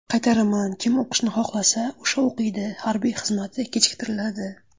Qaytaraman: kim o‘qishni xohlasa, o‘sha o‘qiydi, harbiy xizmati kechiktiriladi.